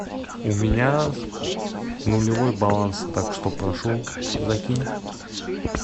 у меня нулевой баланс так что прошу закинь